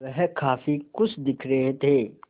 वह काफ़ी खुश दिख रहे थे